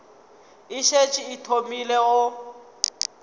e šetše e thomile go